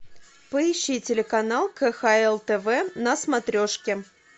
поищи телеканал кхл тв на смотрешке